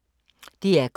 DR K